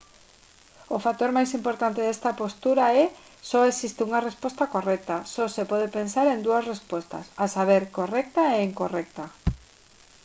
o factor máis importante desta postura é só existe unha resposta correcta só se pode pensar en dúas respostas a saber correcta e incorrecta